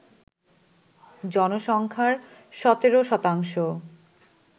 জনসংখ্যার ১৭%